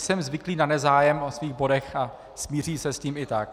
Jsem zvyklý na nezájem o svých bodech a smířím se s tím i tak.